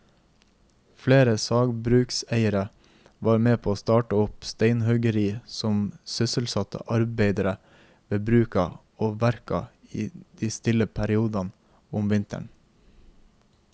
Flere sagbrukseiere var med å starte opp steinhuggeri som sysselsatte arbeidere ved bruka og verka i de stille periodene om vinteren.